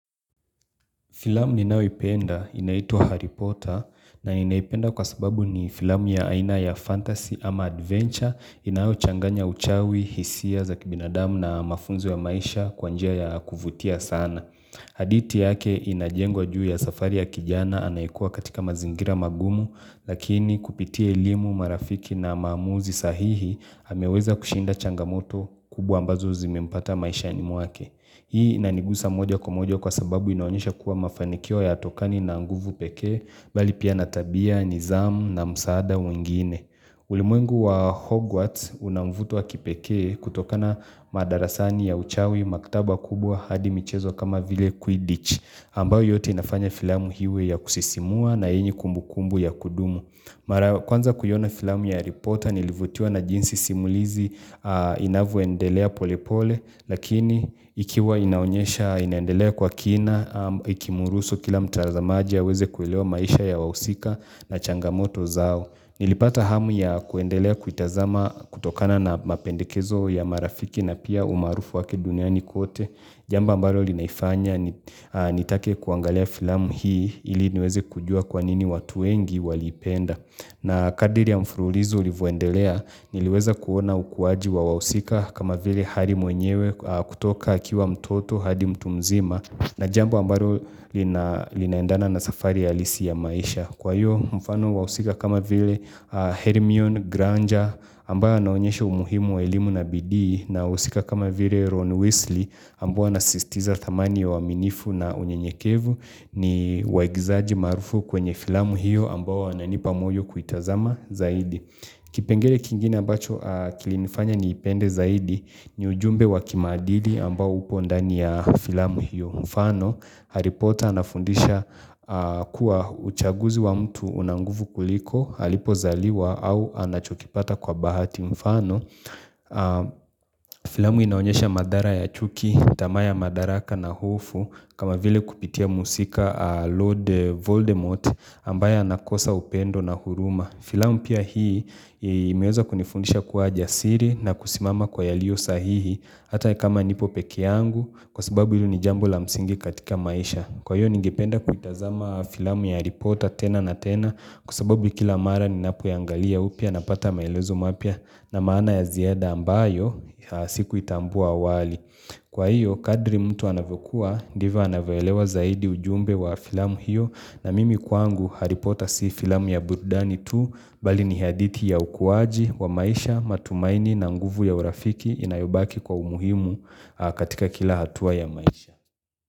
Filamu ninayo ipenda inaituwa Harry Potter na ninaipenda kwa sababu ni filamu ya aina ya fantasy ama adventure inayo changanya uchawi, hisia za kibinadamu na mafunzo ya maisha kwa njia ya kuvutia sana. Hadithi yake inajengwa juu ya safari ya kijana anaikua katika mazingira magumu lakini kupitia elimu marafiki na mamuzi sahihi ameweza kushinda changamoto kubwa ambazo zimimpata maishani mwake. Hii inanigusa moja kwa moja kwa sababu inaonyesha kuwa mafanikio yatokani na nguvu pekee bali pia na tabia, nithamu na msaada mwingine. Ulimwengu wa Hogwarts unamvuto wa kipekee kutokana madarasani ya uchawi maktaba kubwa hadi michezo kama vile Quidditch. Ambayo yote inafanya filamu iwe ya kusisimua na yenye kumbukumbu ya kudumu. Mara ya kwanza kuiona filamu ya harry porter nilivutua na jinsi simulizi inavyoendelea polepole lakini ikiwa inaonyesha inaendelea kwa kina ikimuruhusu kila mtazamaji aweze kuelewa maisha ya wahusika na changamoto zao. Nilipata hamu ya kuendelea kuitazama kutokana na mapendekezo ya marafiki na pia umarufu wake duniani kote Jambo ambalo linaifanya nitake kuangalia filamu hii ili niweze kujua kwanini watu wengi waliipenda na kadiri ya mfululizo ulivuendelea niliweza kuona ukuwaji wa wahusika kama vile harry mwenyewe kutoka akiwa mtoto hadi mtu mzima, na jambo ambalo linaendana na safari halisi ya maisha kwa hiyo mfano wahusika kama vile Hermione Granger ambawa naonyeshe umuhimu wa elimu na bidii na wahusika kama vile Ron Wesley ambao wanasistiza thamani ya uaminifu na unyenyekevu ni waigizaji marufu kwenye filamu hiyo ambao wananipa moyo kuitazama zaidi. Kipengele kingine ambacho kilinfanya niipende zaidi ni ujumbe wa kimaadili ambao upo ndani ya filamu hiyo mfano Harry potter anafundisha kuwa uchaguzi wa mtu una nguvu kuliko, alipo zaliwa au anachokipata kwa bahati mfano Filamu inaonyesha mathara ya chuki, tamaa ya madaraka na hofu kama vile kupitia mhusika Lord Voldemort ambaya anakosa upendo na huruma Filamu pia hii imeweza kunifundisha kuwa jasiri na kusimama kwa yalio sahihi Hata kama nipo pekeyangu kwa sababu hili ni jambo la msingi katika maisha Kwa hiyo ningipenda kuitazama filamu ya harry potter tena na tena Kwa sababu kila mara ninapo iangalia upya napata maelezo mapya na maana ya ziada ambayo sikuitambua awali kwa hiyo kadri mtu anavyokua ndivyo anavyoelewa zaidi ujumbe wa filamu hiyo na mimi kwangu harry potter si filamu ya burudani tu bali ni hadithi ya ukuwaji wa maisha matumaini na nguvu ya urafiki inayobaki kwa umuhimu katika kila hatua ya maisha.